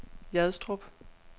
Hjadstrup